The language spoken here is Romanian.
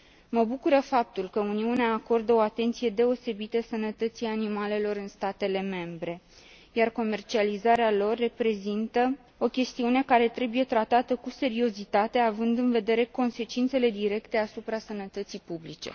Mă bucură faptul că Uniunea acordă o atenție deosebită sănătății animalelor în statele membre, iar comercializarea lor reprezintă o chestiune care trebuie tratată cu seriozitate, având în vedere consecințele directe asupra sănătății publice.